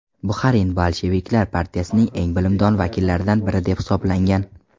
Buxarin bolsheviklar partiyasining eng bilimdon vakillaridan biri deb hisoblangan.